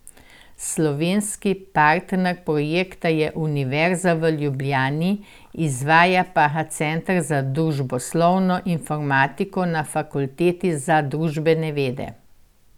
Slovenski partner projekta je Univerza v Ljubljani, izvaja pa ga center za družboslovno informatiko na Fakulteti za družbene vede.